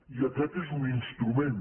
i aquest és un instrument